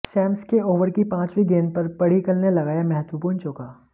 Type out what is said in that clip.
Sam's के over की पांचवी गेंद पर पद्डिकल ने लगाया महत्वपूर्ण चौका